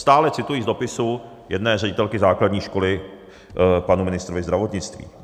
Stále cituji z dopisu jedné ředitelky základní školy panu ministru zdravotnictví.